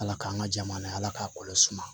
Ala k'an ka jamana ala k'a kɔlɔsi suma